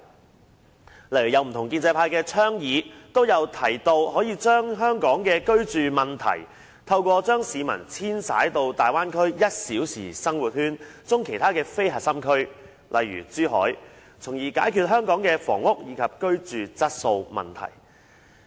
舉例而言，在不同建制派議員的倡議中，均有提到可就香港的居住問題，透過將市民遷徙到大灣區"一小時生活圈"中其他非核心區，例如珠海，從而解決香港的房屋以至居住質素問題。